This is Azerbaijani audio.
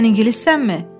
Sən ingilissənmi?